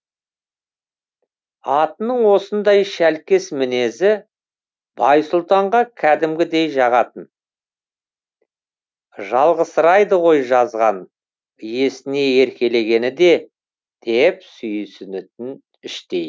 атының осындай шәлкес мінезі байсұлтанға кәдімгідей жағатын жалғызсырайды ғой жазған иесіне еркелегені де деп сүйсінетін іштей